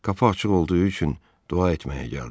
Qapı açıq olduğu üçün dua etməyə gəldim.